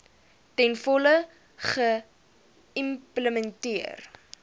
ten volle geïmplementeer